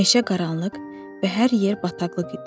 Meşə qaranlıq və hər yer bataqlıq idi.